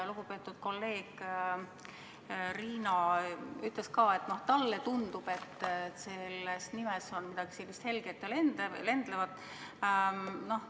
Lugupeetud kolleeg Riina ütles, et talle tundub, et selles nimes on midagi sellist helget ja lendlevat.